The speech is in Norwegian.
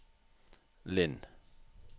Linn